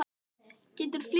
Geturðu flýtt þér.